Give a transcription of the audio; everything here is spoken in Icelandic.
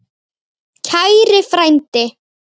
Kæri frændi.